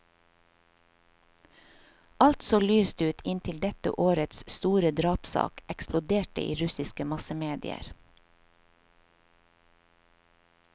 Alt så lyst ut inntil dette årets store drapssak eksploderte i russiske massemedier.